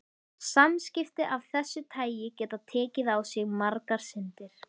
Samskipti af þessu tagi geta tekið á sig margar myndir.